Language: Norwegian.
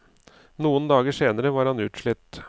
Noen dager senere var han utslitt.